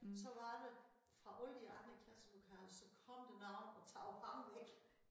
Så var der fra alle de andre klasselokaler så kom der nogen og tog ham væk